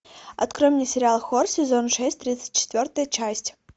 открой мне сериал хор сезон шесть тридцать четвертая часть